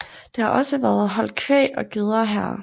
Det har også været holdt kvæg og geder her